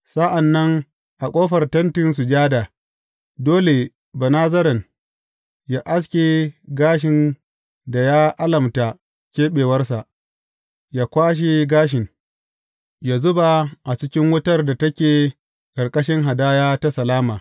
Sa’an nan a ƙofar Tentin Sujada, dole Banazaren yă aske gashin da ya alamta keɓewarsa, yă kwashe gashin, yă zuba a cikin wutar da take ƙarƙashin hadaya ta salama.